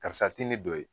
Karisa ti ne don ye